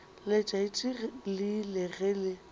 letšatši le ile ge le